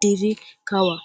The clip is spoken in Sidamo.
dirra kawa.